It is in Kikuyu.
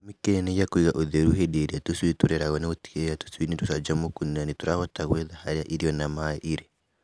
Gĩtũmi kĩnene gĩa kũiga ũtheri hĩndĩ ĩrĩa tũcui tũrarerwo nĩgũtigĩrĩra tũcui nĩ tũcanjamũku na nĩ tũrahota gwetha harĩa irio na maaĩ irĩ.